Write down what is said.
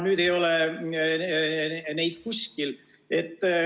Nüüd ei ole neid kuskil.